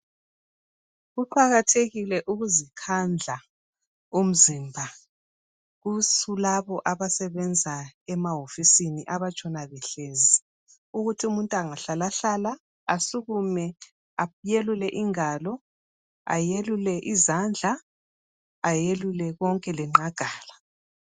Kuqakathekile ukuzikhandla umzimba kulabo abasebenza emawofisini abatshona behlezi ukuthi umuntu engahlalahlala asukume ayelule ingalo, ayelule izandla ayelule konke lenqagala.